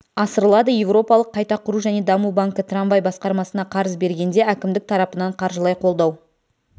асырылады еуропалық қайта құру және даму банкі трамвай басқармасына қарыз бергенде әкімдік тарапынан қаржылай қолдау